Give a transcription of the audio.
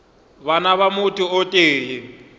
bana ba motho o tee